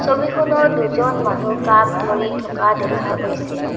ছবিখনত দুজন মানুহ কাপ ধৰি থকা দেখা গৈছে।